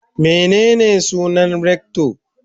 Menene sunan rector?